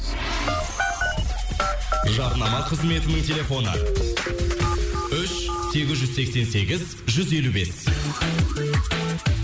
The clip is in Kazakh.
жарнама қызметінің телефоны үш сегіз жүз сексен сегіз жүз елу бес